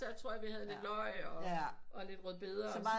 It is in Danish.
Der tror jeg vi havde lidt løg og lidt rødbeder